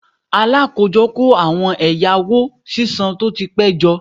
Alakojo ko awon owo eyawo sisan to ti pe jo